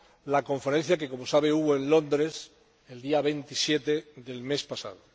la Conferencia que, como sabe, hubo en Londres el día 27 del mes pasado.